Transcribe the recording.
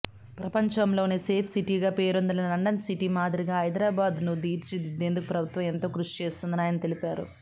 ప్రపంచంలోనే సేఫ్ సిటీగా పేరొందిన లండన్ సిటీ మాదిరిగా హైదరాబాద్ను తీర్చిదిద్దేందుకు ప్రభుత్వం ఎంతో కృషిచేస్తుందని ఆయన తెలిపారు